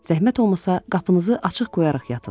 Zəhmət olmasa qapınızı açıq qoyaraq yatın.